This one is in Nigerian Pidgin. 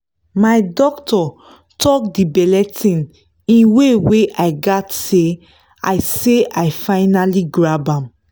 my doctor talk the belle thing in way wey i gatz say i say i finally grab am.